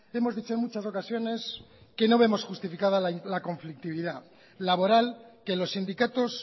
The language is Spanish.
hemos dicho en muchas ocasiones que no vemos justificada la conflictividad laboral que los sindicatos